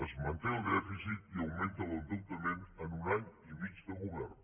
es manté el dèficit i augmenta l’endeutament en un any i mig de govern